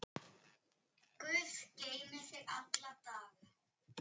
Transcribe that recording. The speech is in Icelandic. Guð geymi þig alla daga.